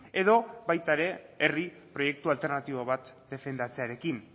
edo baita ere herri proiektu alternatibo bat defendatzearekin